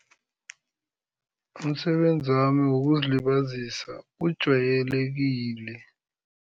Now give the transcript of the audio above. Umsebenzi wami wokuzilibazisa ujwayelekile.